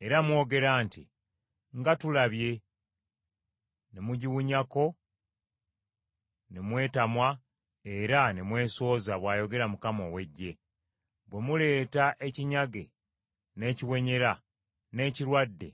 Era mwogera nti, ‘Nga tulabye;’ ne mugiwunyako ne mwetamwa, era ne mwesooza,” bw’ayogera Mukama ow’Eggye. “Bwe muleeta ekinyage, n’ekiwenyera, n’ekirwadde,